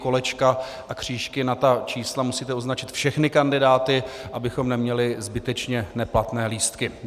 Kolečka a křížky na ta čísla, musíte označit všechny kandidáty, abychom neměli zbytečně neplatné lístky.